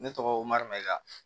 Ne tɔgɔ mamaja